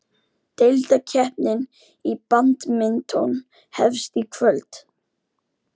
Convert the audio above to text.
Deildakeppnin í badminton hefst í kvöld